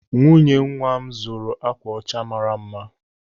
Nwunye nwa m zụrụ akwa ọcha mara mma.